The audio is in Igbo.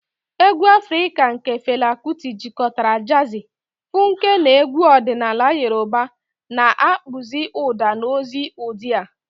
Egwu Afrika nke Fela Kuti jikọtara jazi, funku na egwu ọdịnala Yoruba, na-akpụzi ụda na ozi ụdị a.